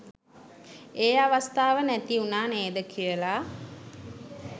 ඒ අවස්ථාව නැති වුනා නේද කියලා